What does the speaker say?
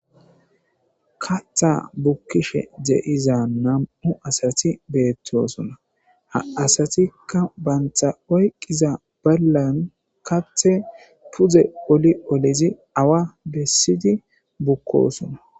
Katha bukkishe de7iza nam7u asati beettoosona. Ha asatikka bantta oyqqiza ballan Kathe pudze oli olizi awa bessidi bukkoosona.